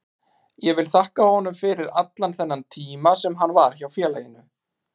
Ég vil þakka honum fyrir allan þennan tíma sem hann var hjá félaginu.